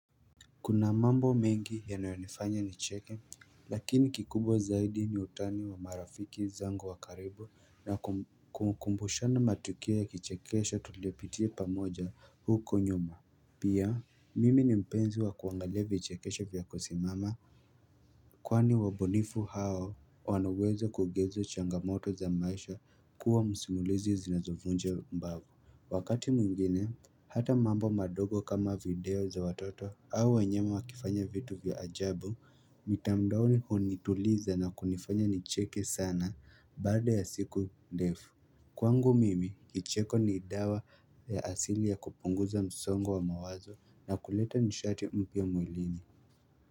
Kuna mambo mengi yanayonifanya nicheke Lakini kikubwa zaidi ni utani wa marafiki zangu wa karibu na kukumbushana matukio ya kichekesho tuliyopitia pamoja huko nyuma Pia mimi ni mpenzi wa kuangalia vichekesho vya kusimama Kwani wabunifu hao wana uwezo wa kugeuza changamoto za maisha kuwa msimulizi zinazovunja mbavu Wakati mwingine Hata mambo madogo kama video za watoto au wanyama wakifanya vitu vya ajabu mtandaoni hunituliza na kunifanya nicheke sana baada ya siku ndefu Kwangu mimi, kicheko ni dawa ya asili ya kupunguza msongo wa mawazo na kuleta nishati mpya mwilini.